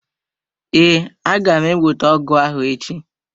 Ee, aga m ewete ọgụ ahụ echi.